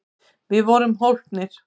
Við vorum hólpnir!